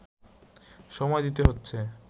সময় দিতে হচ্ছে